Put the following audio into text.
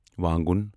وانٛگُن